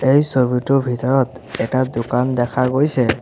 এই ছবিটোৰ ভিতৰত এটা দোকান দেখা গৈছে।